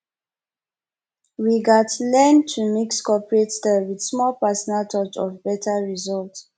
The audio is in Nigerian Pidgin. we gats learn to mix corporate style with small personal touch for beta result